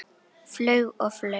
Flaug og flaug.